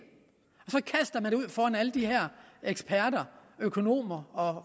og kaster det ud foran alle de her eksperter økonomer og